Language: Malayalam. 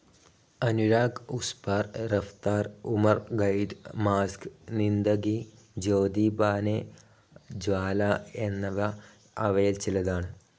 അനുരാഗ്, ഉസ്‌ പാർ, റഫ്ത്താർ, ഉമർ ഖൈദ്, മാസക്, സിന്ദഗി, ജ്യോതി ബാനെ ജ്വാല എന്നിവ അവയിൽ ചിലതാണ്.